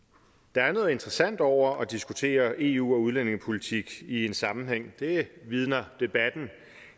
der er noget interessant over at diskutere eu og udlændingepolitik i en sammenhæng det vidner debatten